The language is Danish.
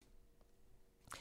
DR1